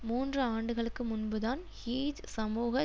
மூன்று ஆண்டுகளுக்கு முன்புதான் ஹூஜ் சமூக